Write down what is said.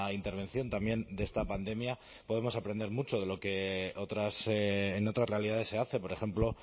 intervención también de esta pandemia podemos aprender mucho de lo que en otras realidades se hace por ejemplo